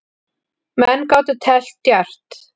Menn gátu teflt djarft.